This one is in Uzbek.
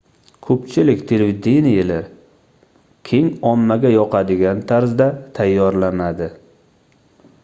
koʻpchilik televideniyelar keng ommaga yoqadigan tarzda tayyorlanadi